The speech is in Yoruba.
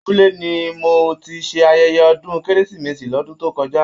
Abúlé ni mo tí ṣe ayẹyẹ ọdún kérésìmesì l'ọdun to kọjá.